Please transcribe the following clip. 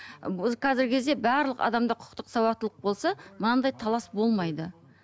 ы қазіргі кезде барлық адамда құқықтық сауаттылық болса мынандай талас болмайды